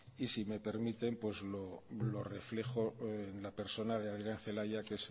y si me permiten pues lo reflejo en la persona de adrián celaya que